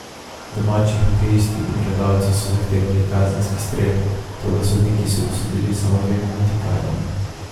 Domači hokejisti in gledalci so zahtevali kazenski strel, toda sodniki so dosodili samo dve minuti kazni.